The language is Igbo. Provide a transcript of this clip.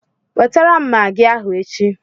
Wetara m Magị ahụ echi!